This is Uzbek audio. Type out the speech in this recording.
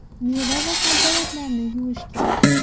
Meva va sabzavotlarni yuvish kerak.